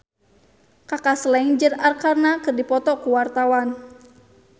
Kaka Slank jeung Arkarna keur dipoto ku wartawan